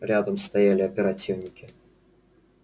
рядом стояли оперативники